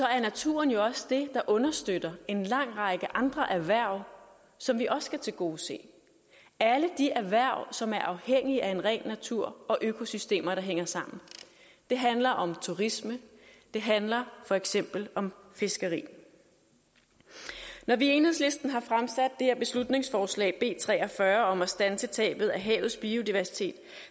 er naturen jo også det der understøtter en lang række andre erhverv som vi også skal tilgodese alle de erhverv som er afhængig af en ren natur og økosystemer der hænger sammen det handler om turisme det handler for eksempel om fiskeri når vi i enhedslisten har fremsat det her beslutningsforslag b tre og fyrre om at standse tabet af havets biodiversitet